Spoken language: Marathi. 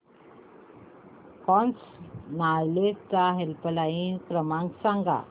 क्रॉस नॉलेज चा हेल्पलाइन क्रमांक सांगा